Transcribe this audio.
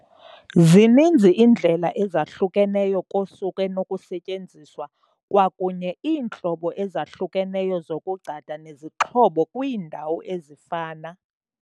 Zininzi iindlela ezahlukeneyo kosuku enokusetyenziswa, kwakunye iintlobo ezahlukeneyo zokugcada nezixhobo kwiindawo ezifana.